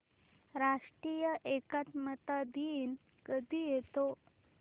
राष्ट्रीय एकात्मता दिन कधी येतो